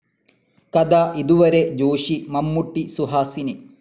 കഥ ഇതുവരെ ജോഷി മമ്മൂട്ടി, സുഹാസിനി